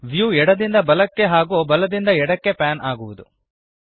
view ಎಡದಿಂದ ಬಲಕ್ಕೆ ಹಾಗೂ ಬಲದಿಂದ ಎಡಕ್ಕೆ ಪ್ಯಾನ್ ಆಗುವದು